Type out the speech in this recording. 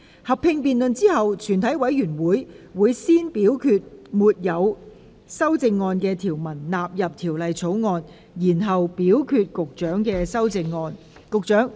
合併辯論結束後，全體委員會會先表決沒有修正案的條文納入《條例草案》，然後表決局長的修正案。